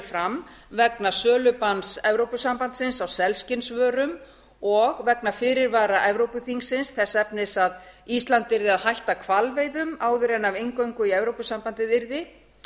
fram vegna sölubanns evrópusambandsins á selskinnsvörum og vegna fyrirvara evrópuþingsins þess efnis að ísland yrði að hætta hvalveiðum áður en af inngöngu í evrópusambandið yrði